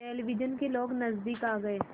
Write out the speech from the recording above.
television के लोग नज़दीक आ गए